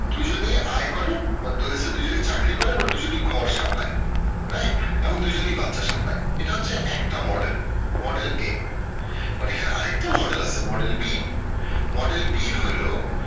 দুজনেই আয় করে বা দুজনেই চাকরি করে আবার দুজনেই ঘর সামলায় right এবং দুজনেই বাচ্চা সামলায় এটা হচ্ছে একটা model model A but এখানে আরেকটা model আছে model B model B হইলো